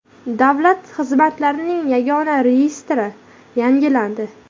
Davlat xizmatlarining yagona reyestri yangilandi.